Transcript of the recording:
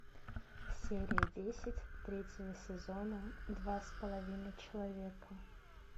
серия десять третьего сезона два с половиной человека